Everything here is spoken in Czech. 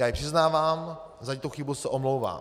Já ji přiznávám, za tuto chybu se omlouvám.